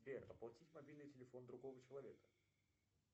сбер оплатить мобильный телефон другого человека